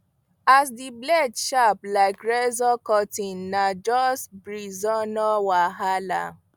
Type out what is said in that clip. as di blade sharp like razor cutting na just breezeno wahala